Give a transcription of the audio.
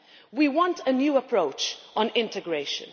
We want a new approach on integration.